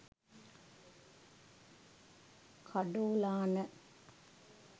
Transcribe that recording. kadolana